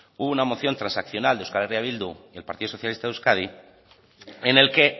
hubo una moción transaccional de euskal herria bildu y el partido socialista de euskadi en el que